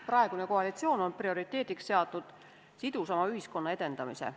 Praegune koalitsioon on prioriteediks seadnud sidusama ühiskonna edendamise.